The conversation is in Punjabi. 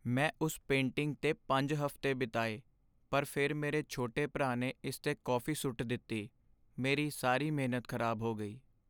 ਮੈਂ ਉਸ ਪੇਂਟਿੰਗ 'ਤੇ ਪੰਜ ਹਫ਼ਤੇ ਬਿਤਾਏ ਪਰ ਫਿਰ ਮੇਰੇ ਛੋਟੇ ਭਰਾ ਨੇ ਇਸ 'ਤੇ ਕੌਫੀ ਸੁੱਟ ਦਿੱਤੀ ਮੇਰੀ ਸਾਰੀ ਮਿਹਨਤ ਖ਼ਰਾਬ ਹੋ ਗਈ